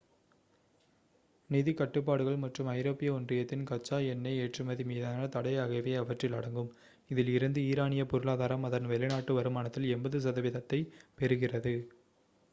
நிதிக் கட்டுப்பாடுகள் மற்றும் ஐரோப்பிய ஒன்றியத்தின் கச்சா எண்ணெய் ஏற்றுமதி மீதான தடை ஆகியவை அவற்றில் அடங்கும் இதில் இருந்து ஈரானிய பொருளாதாரம் அதன் வெளிநாட்டு வருமானத்தில் 80% ஐப் பெறுகிறது